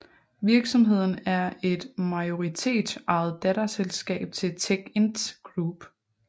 Virksomheden er et majoritetsejet datterselskab til Techint Group